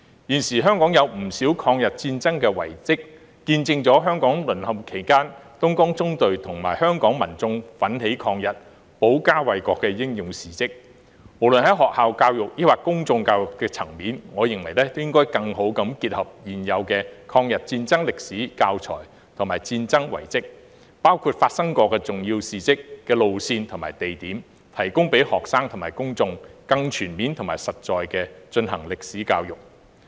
現時香港有不少抗日戰爭遺蹟，見證了香港淪陷期間東江縱隊與香港民眾奮起抗日、保家衞國的英勇事蹟，無論在學校教育或公眾教育的層面，我認為應該更好地結合現有的抗日戰爭歷史教材和戰爭遺蹟，包括發生過重要事蹟的路線和地點，提供給學生及公眾進行更全面和實在的歷史教育。